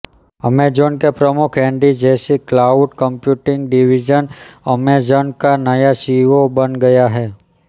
Amazon के प्रमुख Andy Jassy cloud computing division Amazon का नया सीईओ बन गया है